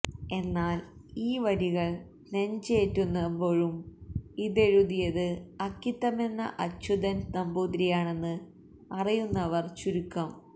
എന്നാൽ ഈ വരികൾ നെഞ്ചേറ്റുമ്പോഴും ഇതെഴുതിയത് അക്കിത്തമെന്ന അച്യുതൻ നമ്പൂതിരിയാണെന്ന് അറിയുന്നവർ ചുരുക്കം